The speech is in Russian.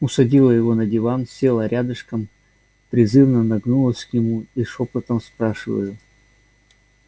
усадила его на диван села рядышком призывно нагнулась к нему и шёпотом спрашиваю